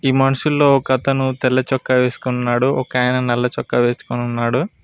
నీ మనసులో ఒకతను తెల్లచొక్కా వేసుకున్నాడు ఒక ఆయన నల్ల చొక్కా వేసుకుని ఉన్నాడు.